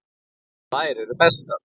Þær eru bestar.